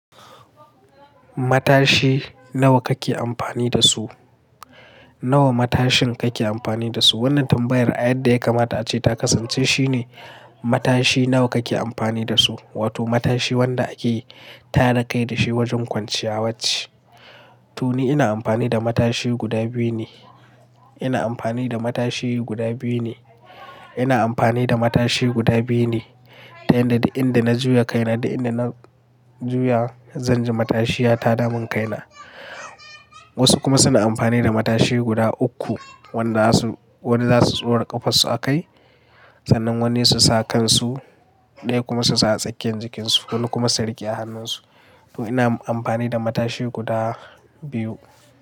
Matashi nawa kake amfani da su? Nawa matashin kake amfani da su? Wannan tambayar a yadda yakamata ace ta kasance shine matashi nawa kake amfani da su, wato matashi wanda ake tara kai da shi wajen kwanciyawarci. To ni ina amfani da matashi guda biyu ne. Ina amfani da matashi guda biyu ne. Ina amfani da matashi guda biyu ne, ta hanyar da inda na juya kaina da inda na juya, zan ji matashiya ta damun kaina. Wasu kuma suna amfani da matashi guda uku, wanda su, wanda za su tsora ƙafarsu a kai, sannan wanne su sa a kansu, ɗaya kuma su sa a tsakiyar jikinsu, wani kuma su riƙe a hannunsu. To ina amfani da matashi guda biyu.